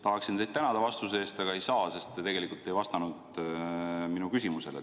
Tahaksin teid tänada vastuse eest, aga ei saa, sest te tegelikult ei vastanud mu küsimusele.